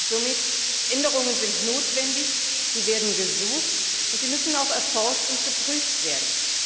Somit Änderungen sind notwendig, sie werden gesucht, und sie müssen auch erforscht und geprüft werden.